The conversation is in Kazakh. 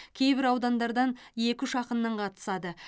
кейбір аудандардан екі үш ақыннан қатысады